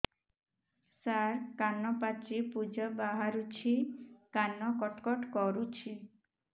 ସାର କାନ ପାଚି ପୂଜ ବାହାରୁଛି କାନ କଟ କଟ କରୁଛି